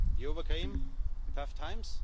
You overcame tough times.